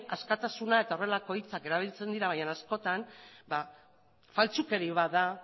askatasuna eta horrelako hitzak erabiltzen dira baina askotan faltsukeri bat da